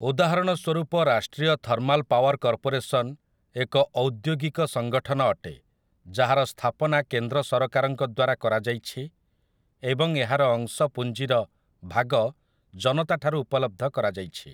ଉଦାହରଣ ସ୍ୱରୂପ ରାଷ୍ଟ୍ରୀୟ ଥର୍ମାଲ୍ ପାୱାର୍ କର୍ପୋରେସନ୍ ଏକ ଔଦ୍ୟୋଗିକ ସଙ୍ଗଠନ ଅଟେ ଯାହାର ସ୍ଥାପନା କେନ୍ଦ୍ର ସରକାରଙ୍କଦ୍ୱାରା କରାଯାଇଛି ଏବଂ ଏହାର ଅଂଶପୁଂଜୀର ଭାଗ ଜନତାଠାରୁ ଉପଲବ୍ଧ କରାଯାଇଛି ।